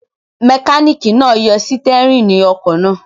Mẹkáníkì náà yọ sítẹ́rínì ọkọ̀ náà.